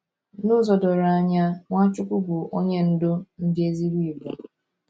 N’ụzọ doro anya, Nwachukwu bụ Onye Ndú ndị ezigbo Igbo.